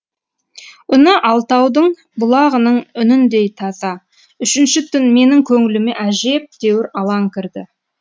үні алтаудың бұлағының үніндей таза үшінші түн менің көңіліме әжептәуір алаң кірді